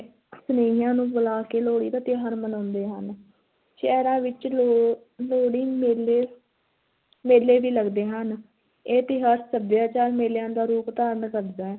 ਸਨੇਹੀਆਂ ਨੂੰ ਬੁਲਾ ਕੇ ਲੋਹੜੀ ਦਾ ਤਿਉਹਾਰ ਮਨਾਉਂਦੇ ਹਨ, ਸ਼ਹਿਰਾਂ ਵਿੱਚ ਲੋ~ ਲੋਹੜੀ ਮੇਲੇ ਮੇਲੇ ਵੀ ਲਗਦੇ ਹਨ, ਇਹ ਤਿਉਹਾਰ ਸੱਭਿਆਚਾਰ ਮੇਲਿਆਂ ਦਾ ਰੂਪ ਧਾਰਨ ਕਰਦਾ ਹੈ।